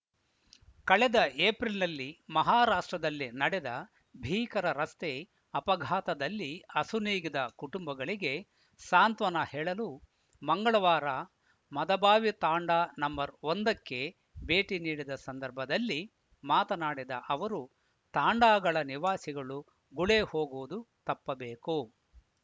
ಕಳೆದ ಏಪ್ರಿಲ್‌ನಲ್ಲಿ ಮಹಾರಾಷ್ಟ್ರದಲ್ಲಿ ನಡೆದ ಭೀಕರ ರಸ್ತೆ ಅಪಘಾತದಲ್ಲಿ ಅಸುನೀಗಿದ ಕುಟುಂಬಗಳಿಗೆ ಸಾಂತ್ವನ ಹೇಳಲು ಮಂಗಳವಾರ ಮದಭಾವಿ ತಾಂಡಾ ನಂಬರ್ ಒಂದಕ್ಕೆ ಭೇಟಿ ನೀಡಿದ ಸಂದರ್ಭದಲ್ಲಿ ಮಾತನಾಡಿದ ಅವರು ತಾಂಡಾಗಳ ನಿವಾಸಿಗಳು ಗುಳೇ ಹೋಗುವುದು ತಪ್ಪಬೇಕು